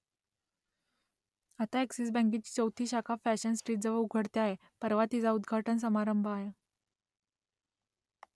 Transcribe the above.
आता अ‍ॅक्सिस बँकेची चौथी शाखा फॅशन स्ट्रीटजवळ उघडते आहे परवा तिचा उद्घाटन समारंभ आहे